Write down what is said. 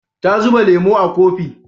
Ta zuba lemo a kofi